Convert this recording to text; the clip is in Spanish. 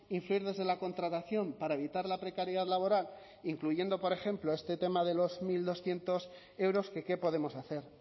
incidir desde la contratación para evitar la precariedad laboral incluyendo por ejemplo este tema de los mil doscientos euros que qué podemos hacer